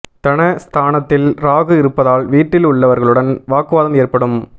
தன ஸ்தானத்தில் ராகு இருப்பதால் வீட்டில் உள்ளவர்களுடன் வாக்குவாதம் ஏற்படும்